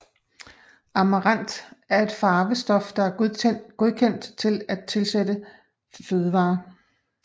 Amaranth er et farvestof der er godkendt til at tilsættes fødevarer